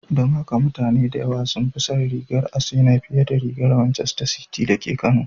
Don haka mutane da yawa sun fi son rigar Asenaa fiye da rigar Macester City da ke Kano